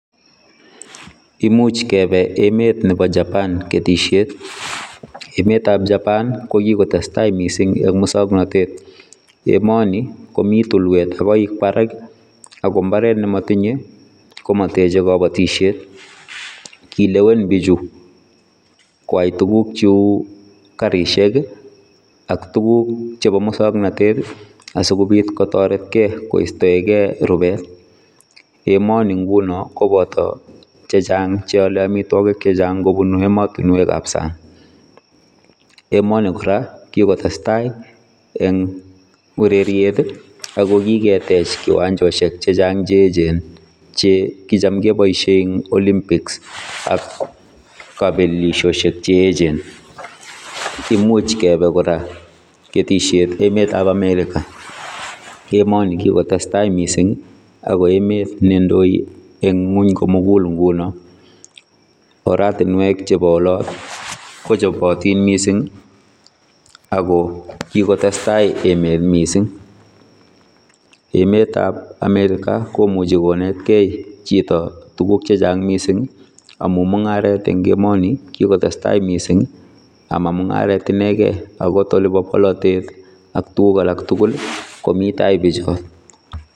Imuch kebe emet nebo japan ketisiet. Emetab japan kokikotestai mising eng musoknotet emoni komi tukwet ak koik barak akombaret ne matinye komateche kabatisyet. Kilewen bichu koai tuguk cheu karisiek ak tuguk chebo musoknotet asikobiit kotoretkei kuistoekei rubet emoni nguno koboto chechang cheole amitwagik chechang kobun ematinwekab sang. Emoni kora kikotestai eng ureriet ako kiketech kiwanjosiek chechang cheechen chekicham keboisie eng olimpics ak kabelisiosiek cheechen. Imuch kebe kora ketisiet emetab america emoni kikotestai mising ako emet nendoi eng ingong komukul nguno, oratinwek chebo olot kochobotin mising ako kikotestai emet mising emetab america komuchi konetkei chito tuguk chechang mising amu mungaret eng emoni kikotestai mising amamungaret inekei angot olebo bolotet ak tuguk alak tugul komi tai bichot.